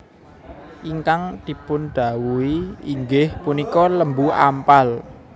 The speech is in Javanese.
Ingkang dipundhawuhi inggiih punika Lembu Ampal